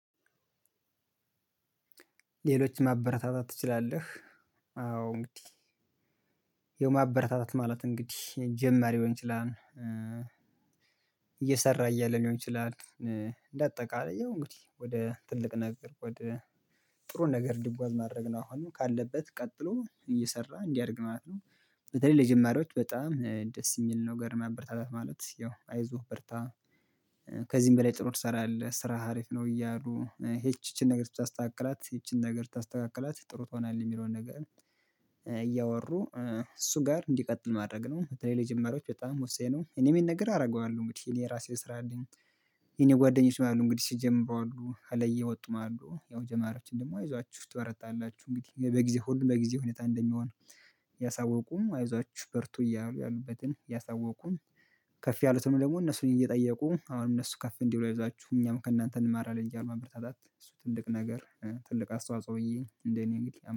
ሌሎች ማበረታታት ትችላለህ አዎ እንግዲህ ያው ማበረታታት ማለት እንግዲህ ጀመር ሊሆን ይችላል እየሰራ እያለ ሊሆን ይችላል በአጠቃላይ ያው እንግዲህ ወደ ትልቅ ነገር ወደ ጥሩን ነገር ልጓዝ ማድረግ ነው አሁን ካለበት ቀጥሎ እየሰራ እንዲያደርግ ማለት ነው በተለይ ለጀማሪዎች በጣም ደስ የሚል ነው ማበረታች ማለት ያው አይዞህ ብርታ ከዚህም በላይ ጥሩ ትሰራለህ ስራህ ሀሪፍ ነው እያሉ ይቺ ይቺን ነገር ብታስተካክላት ይቺን ነገር ብታስተካክላት ጥሩ ትሆናለህ የሚለውን ነገር እያወሩ እሱ ጋር እንዲቀጥል ማድረግ ነው። በተለይ ለጀመሪያዎች በጣም ወሳኝ ነው እኔም ይህን ነገር አደርገዋለሁ እንግዲህ እኔ የራሴ ስራ አለኝ የኔ ጓደኞች አሉ እንግዲህ ሲጀምሩ አሉ ከላይ የወጡም አሉ ያው ጀማሪዎችን ደግሞ አይዟችሁ ትበረታላችሁ እንግዲህ በጊዜ ሁሉም በጊዜ ሁኔታ እንደሚሆን ያሳወቁም አይዟችሁ በርቱ እያሉ ያሉበትን ያሳወቁን ከፍ ያሉትም ደግሞ እነሱን እየጠየቁ አሁን እነሱ ከፍ እንዲሉ አይዧችሁ እኛም ከእናንተ እንማራለን እያሉ ማበረታታት እሱ ትልቅ ነገር ትልቅ አስተዋጽኦ ብዬ እንደኔ እንግዲህ